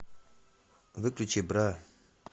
выключи бра